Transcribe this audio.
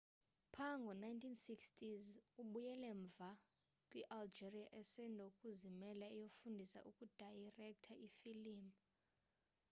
pha ngo 1960s ubuyele mva kwi algeria esandokuzimela eyofundisa ukudayirektha ifilim